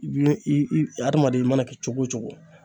I adamaden i mana kɛ cogo o cogo.